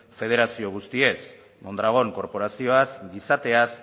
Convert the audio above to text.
federazio guztiez mondragon korporazioaz gizateaz